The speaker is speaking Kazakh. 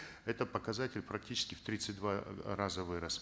этот показатель практически в тридцать два раза вырос